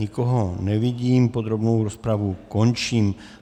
Nikoho nevidím, podrobnou rozpravu končím.